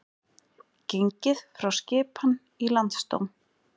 Gengið frá skipan í Landsdóm